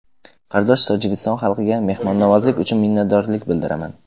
Qardosh Tojikiston xalqiga mehmonnavozlik uchun minnatdorlik bildiraman.